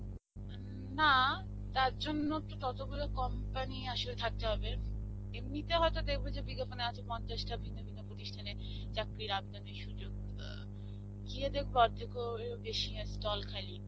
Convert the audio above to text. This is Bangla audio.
না, তারজন্যে তো ততগুলো company আসলে থাকতে হবে. এমনিতে হয়তো দেখবে যে বিজ্ঞাপনে আছে পঞ্চাশটা ভিন্ন ভিন্ন প্রতিষ্ঠানে চাকরির আবেদনের সুযোগ. ইয়া গিয়ে দেখবে অর্ধেকেরও বেশী stall খালি.